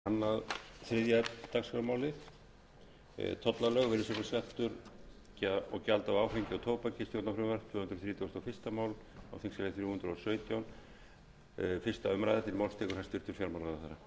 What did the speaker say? virðulegi forseti ég mæli fyrir frumvarpi til laga um breyting á tollalögum lögum um virðisaukaskatt og lögum um gjald af áfengi og tóbaki í frumvarpinu